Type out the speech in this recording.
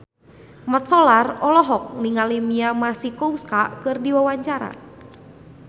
Mat Solar olohok ningali Mia Masikowska keur diwawancara